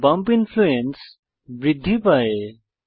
bump influence বৃদ্ধি পায়